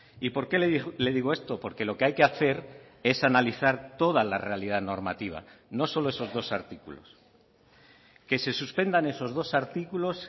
y por qué le digo esto porque lo que hay que hacer es analizar toda la realidad normativa no solo esos dos artículos que se suspendan esos dos artículos